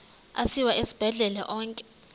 asiwa esibhedlele onke